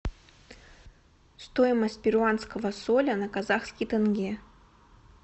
стоимость перуанского соля на казахский тенге